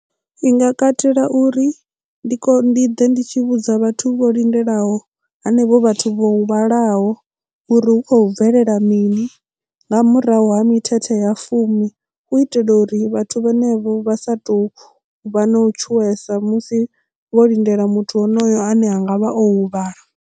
I nga katela uri ndi ḓe ndi tshi vhudza vhathu vho lindelaho hanevho vhathu vho huvhalaho uri hu khou bvelela mini nga murahu ha mithethe ya fumi hu itela uri vhathu vhane vho vha sa tou vha na u tshuwesa musi vho lindela muthu honoyo ane a ngavha o huvhala.